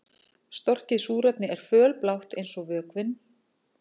Storkið súrefni er fölblátt eins og vökvinn.